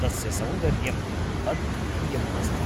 तस्य सौन्दर्यम् अद्वितीयम् अस्ति।